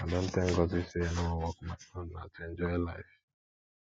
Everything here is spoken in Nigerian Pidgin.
i don tell ngozi say i no wan work my own na to enjoy life